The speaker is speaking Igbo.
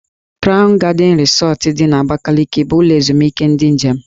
Krawn Gadịn Rịsọt dị n'Abakaliki bụ ụlọ ezumike ndị njem.